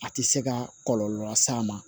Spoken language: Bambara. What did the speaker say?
A tɛ se ka kɔlɔlɔ las'a ma